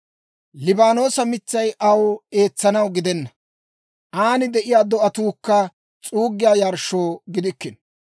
Liibaanoosa mitsay aw eetsanaw gidenna; aan de'iyaa do'atuukka s'uuggiyaa yarshshoo gidikkino.